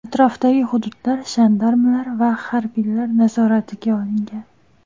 Atrofdagi hududlar jandarmlar va harbiylar nazoratiga olingan.